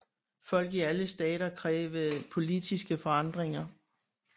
Folk i alle stater krævede politiske forandringer